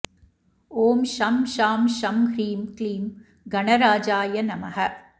ॐ शं शां षं ह्रीं क्लीं गणराजाय नमः